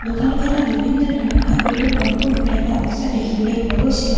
দোকানখনত বিভিন্ন ধৰণৰ কাপোৰে ভৰপুৰ হৈ থকা অৱস্থাত দেখিবলৈ পোৱা গৈছে।